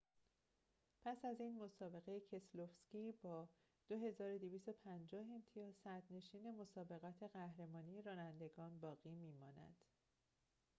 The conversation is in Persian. پس از این مسابقه کسلوفسکی با ۲۲۵۰ امتیاز صدرنشین مسابقات قهرمانی رانندگان باقی می‌ماند